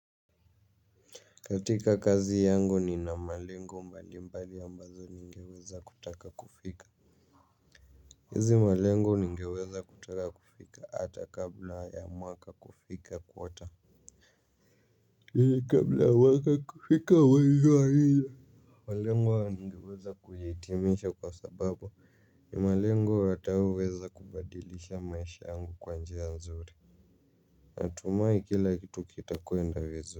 Katika kazi yangu nina malengo mbali mbali ambazo ningeweza kutaka kufika hizi malengo ningeweza kutaka kufika hata kabla ya mwaka kufika quarter. Hei kabla ya mwaka kufika wa iwa hiyo malengo yangu ningeweza kuyahitimisha kwa sababu ni malengo wataweweza kubadilisha maisha yangu kwa njia nzuri. Natumai kila kitu kita kwenda vizuri kwa hivyo.